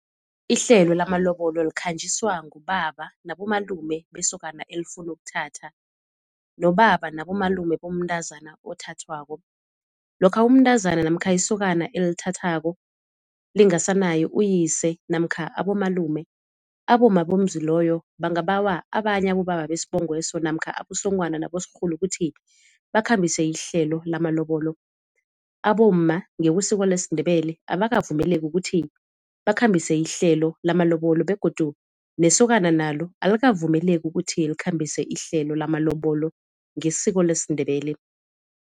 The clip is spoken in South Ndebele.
Ihlelo lamalobolo likhanjiswa ngubaba nabomalume besokana elifuna ukuthatha, nobaba nabomalume bomntazana othathwako. Lokha umntazana namkha isokana elithathako lingasanaye uyise namkha abomalume, abomma bomuzi loyo bangabawa abanye abobaba besibongo leso namkha abosonghwana nabosorhulu ukuthi bakhambise ihlelo lamalobolo. Abomma ngekwesiko lesiNdebele abakavumeleki ukuthi bakhambise ihlelo lamalobolo begodu nesokana nalo alikavumeleki ukuthi likhambise ihlelo lamalobolo ngesiko lesiNdebele.